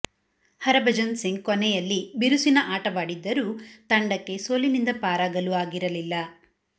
ಹರಭಜನ್ ಸಿಂಗ್ ಕೊನೆಯಲ್ಲಿ ಬಿರುಸಿನ ಆಟವಾಡಿದ್ದರೂ ತಂಡಕ್ಕೆ ಸೋಲಿನಿಂದ ಪಾರಾಗಲು ಆಗಿರಲಿಲ್ಲ